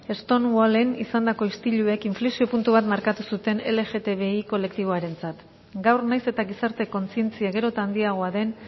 stonewallen izandako istiluek inflexio puntu bat markatu zuten lgtbi kolektiboarentzat gaur nahiz eta gizarte kontzientzia gero eta handiagoa den